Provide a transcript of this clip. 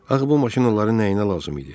Axı bu maşın onların nəyinə lazım idi?